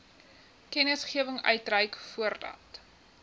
kennisgewing uitreik voordat